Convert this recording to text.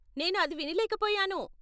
నేను అది వినలేకపోయాను.